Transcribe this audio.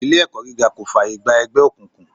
Ilé ẹ̀kọ́ gíga kò fààyè gba ẹgbẹ́ òkùnkùn.